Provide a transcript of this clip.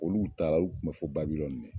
Olu taara o lu kun bɛ fo Babilɔni.